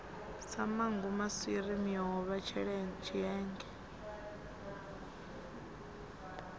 sa manngo maswiri miomva tshienge